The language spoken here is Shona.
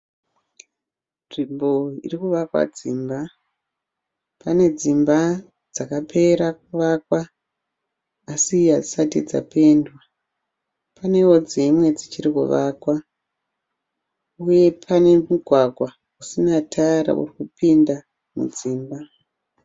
Nzvimbo irikuvakwa dzimba. Pane dzimba dzakapera kuvakwa asi hadzisati dzapendwa paneo dzimwe dzichiri kuvakwa. Uye pane mugwagwa usina tara urikupinda mudzimba.